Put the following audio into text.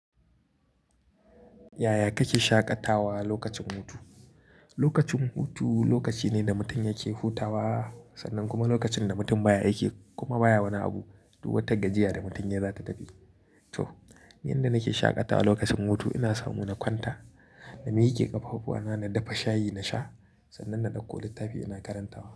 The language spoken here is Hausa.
Yaya kake shaƙatawa lokacin hutu? Lokacin hutu lokaci ne da mutum yake hutawa sannan kuma lokacin da mutum baya aiki kuma baya wani abu duk wata gajiya da mutum yayi zata tafi. To, yanda nake shaƙatawa lokacin hutu ina samu na kwanta, na miƙe ƙafafuwa na, na dafa shayi na sha sannan na ɗauko littafi ina karantawa.